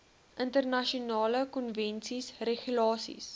internasionale konvensies regulasies